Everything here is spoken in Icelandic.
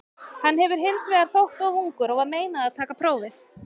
Hann hefur hins vegar þótt of ungur og var meinað að taka prófið.